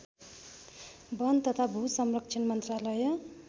वन तथा भूसंरक्षण मन्त्रालय